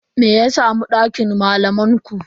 Me ya samu dakin malaman ku?